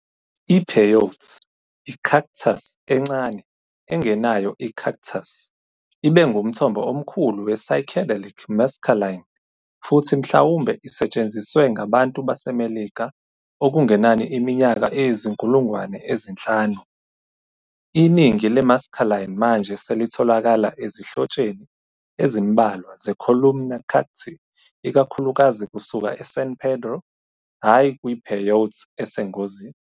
I-Peyote i-cactus encane engenayo i-cactus ibe ngumthombo omkhulu we-psychedelic mescaline futhi mhlawumbe isetshenziswe ngabantu baseMelika okungenani iminyaka eyizinkulungwane ezinhlanu. Iningi le-mescaline manje selitholakala ezinhlotsheni ezimbalwa ze-columnar cacti ikakhulukazi kusuka eSan Pedro hhayi kwi-peyote esengozini.